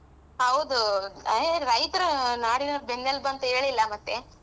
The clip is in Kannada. ಹೌದು ಏ ರೈತ್ರ್ ನಾಡಿನ ಬೆನ್ನೆಲುಬಂತೆ ಹೇಳಿಲ್ಲ ಮತ್ತೆ.